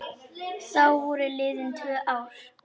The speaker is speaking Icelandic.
Þá voru liðin tvö ár.